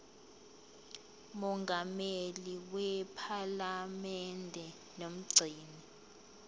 mongameli wephalamende nomgcini